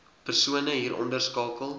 persone hieronder skakel